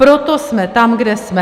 Proto jsme tam, kde jsme.